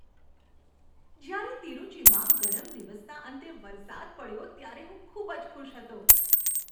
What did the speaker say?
જ્યારે તિરુચીમાં ગરમ દિવસના અંતે વરસાદ પડ્યો ત્યારે હું ખૂબ જ ખુશ હતો.